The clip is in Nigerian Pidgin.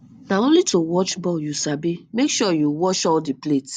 na only to watch ball you sabi make sure you watch all the plate